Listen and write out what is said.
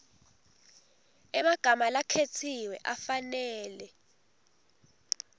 emagama lakhetsiwe afanele